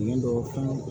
Ni dɔ fɛn